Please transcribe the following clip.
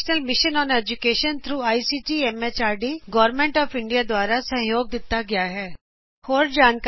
ਇਹ I C T M H R D government of India national mission of education ਦਵਾਰਾ ਸਮਰਥਿਤ ਹੈ